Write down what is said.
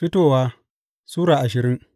Fitowa Sura ashirin